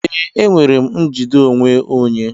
Ee, enwere m njide onwe onye.